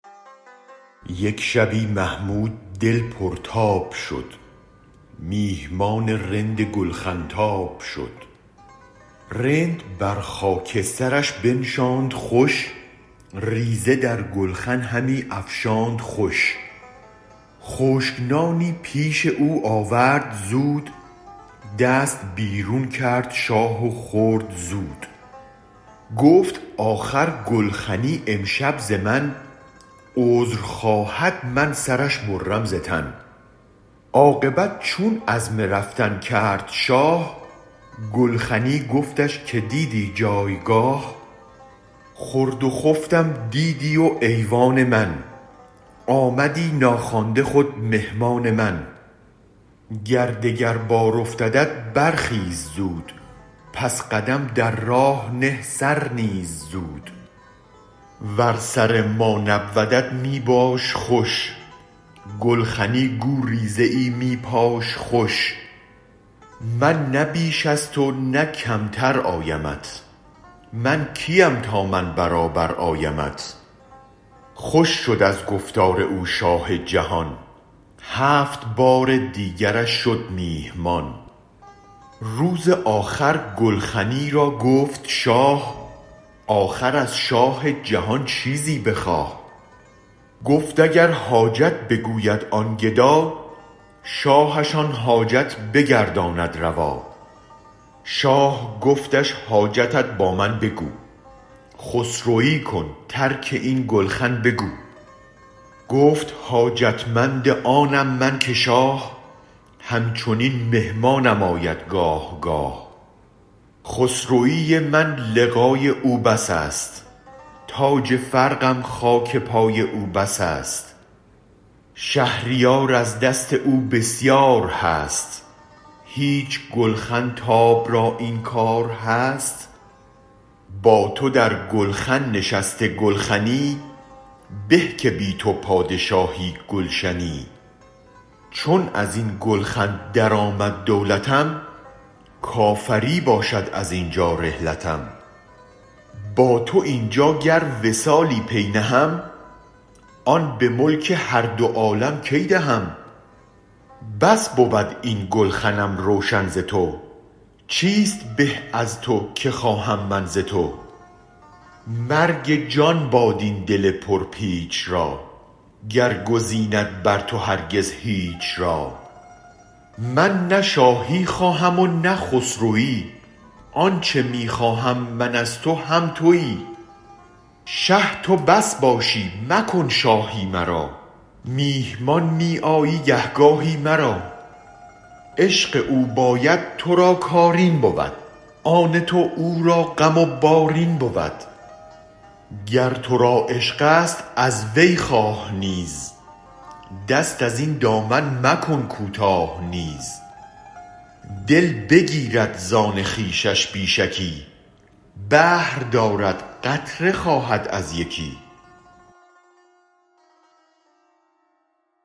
یک شبی محمود دل پر تاب شد میهمان رند گلخن تاب شد رند بر خاکسترش بنشاند خوش ریزه در گلخن همی افشاند خوش خشک نانی پیش او آورد زود دست بیرون کرد شاه و خورد زود گفت آخر گلخنی امشب ز من عذر خواهد من سرش برم ز تن عاقبت چون عزم رفتن کرد شاه گلخنی گفتش که دیدی جایگاه خورد و خفتم دیدی و ایوان من آمدی ناخوانده خود مهمان من گر دگر بار افتدت برخیز زود پس قدم در راه نه سر نیز زود ور سرما نبودت می باش خوش گلخنی گو ریزه ای می پاش خوش من نه بیش از تو نه کمتر آیمت من کیم تا من برابر آیمت خوش شد از گفتار او شاه جهان هفت بار دیگرش شد میهمان روز آخر گلخنی را گفت شاه آخر از شاه جهان چیزی بخواه گفت اگر حاجت بگوید آن گدا شاهش آن حاجت بگرداند روا شاه گفتش حاجتت با من بگو خسروی کن ترک این گلخن بگو گفت حاجتمند آنم من که شاه هم چنین مهمانم آید گاه گاه خسروی من لقای او بس است تاج فرقم خاک پای او بس است شهریار از دست تو بسیار هست هیچ گلخن تاب را این کارهست با تو در گلخن نشسته گلخنی به که بی تو پادشاهی گلشنی چون ازین گلخن درآمد دولتم کافری باشد ازینجا رحلتم با تو اینجا گر وصالی پی نهم آن به ملک هر دو عالم کی دهم بس بود این گلخنم روشن ز تو چیست به از تو که خواهم من ز تو مرگ جان باد این دل پر پیچ را گر گزیند بر تو هرگز هیچ را من نه شاهی خواهم و نه خسروی آنچ می خواهم من از تو هم توی شه تو بس باشی مکن شاهی مرا میهمان می آی گه گاهی مرا عشق او باید ترا کار این بود آن تو او را غم و بار این بود گر ترا عشق است از وی خواه نیز دست ازین دامن مکن کوتاه نیز دل بگیرد زان خویشش بی شکی بحر دارد قطره خواهد از یکی